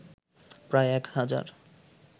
প্রায় এক হাজার